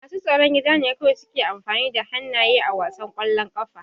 Masu tsaron gida ne kawai suke amfani da hannaye a wasan ƙwallon ƙafa.